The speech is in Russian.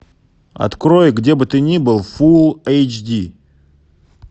открой где бы ты ни был фул эйч ди